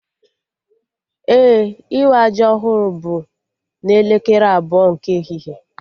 Ee, ịwa ji ọhụrụ bụ n'elekere abụọ nke ehihie